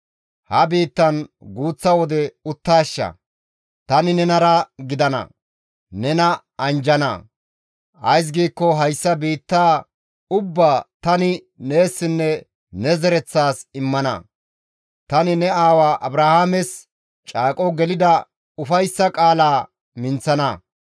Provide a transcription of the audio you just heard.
Ha biittan guuththa wode uttaashsha; tani nenara gidana; nena anjjana; ays giikko hayssa biittaa ubbaa tani neessinne ne zereththaas immana; tani ne aawa Abrahaames caaqo gelida ufayssa qaalaa minththana.